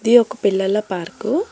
ఇది ఒక పిల్లల పార్కు .